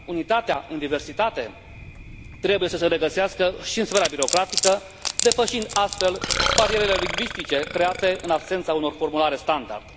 Unitatea în diversitate trebuie să se regăsească și în sfera birocratică, depășind astfel barierele lingvistice create în absența unor formulare standard.